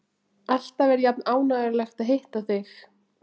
Alltaf er jafn ánægjulegt að hitta þig.